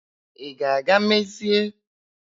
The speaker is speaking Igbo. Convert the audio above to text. Ị ga-aga dozie kuka eletriki ahụ mebiri?